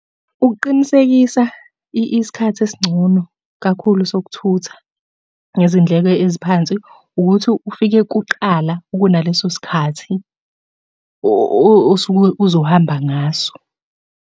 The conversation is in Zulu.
Ukuqinisekisa isikhathi esingcono kakhulu sokuthutha ngezindleko eziphansi ukuthi ufike kuqala kunaleso sikhathi osuke uzohamba ngaso.